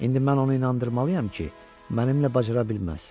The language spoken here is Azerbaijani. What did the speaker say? İndi mən onu inandırmalıyam ki, mənimlə bacara bilməz.